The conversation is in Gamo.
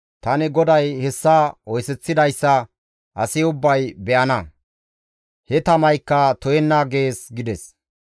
Tani GODAY hessa oyseththidayssa asi ubbay be7ana; he tamaykka to7enna› gees» gides.